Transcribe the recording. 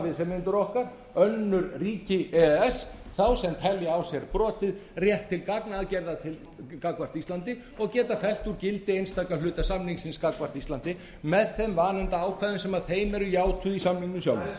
viðsemjendur okkar önnur ríki í e e s þá sem telja á sér brotið rétt til gagnaðgerða gagnvart íslandi og geta fellt úr gildi einstaka hluta samningsins gagnvart íslandi með þeim vanefndaákvæðum sem þeim eru játuð í samningnum sjálfum þetta er